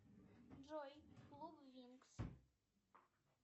джой клуб винкс